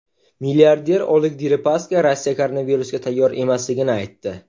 Milliarder Oleg Deripaska Rossiya koronavirusga tayyor emasligini aytdi.